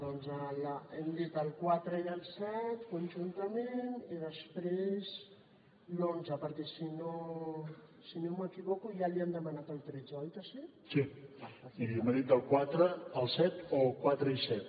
doncs hem dit el quatre i el set conjuntament i després l’onze perquè si no m’equivoco ja li han demanat el tretze oi que sí del quatre al set